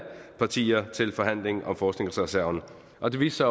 partier til forhandling om forskningsreserven og det viste